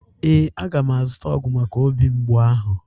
Ee, aga m azuta ọgwu maka obi mgbu ahụ.